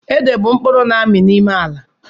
Ede bú mkpụrụ na-amị n'ime ala